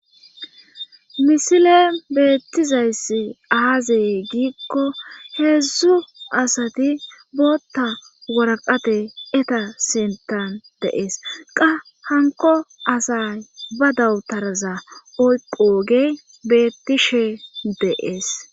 misile beettizayssi aaze giikko heedzdzu asati bootta waraqate eta sintan de'ees qa hanko asay ba dawutaraza oyqoogey beettishe de'ees